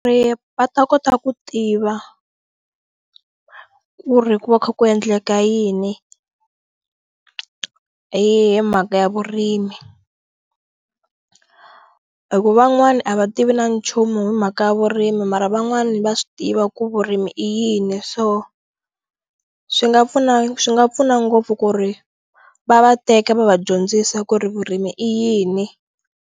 Ri va ta kota ku tiva ku ri ku va kha ku endleka yini hi mhaka ya vurimi hi ku van'wani a va tivi na nchumu hi mhaka ya vurimi mara van'wani va swi tiva ku vurimi i yini so swi nga pfuna swi nga pfuna ngopfu ku ri va va teka va va dyondzisa ku ri vurimi i yini.